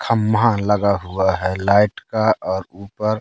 खम्मा लगा हुआ है लाइट का और ऊपर--